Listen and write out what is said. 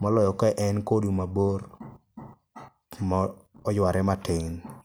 moloyo ka en kodu mabor kuma oyware matin.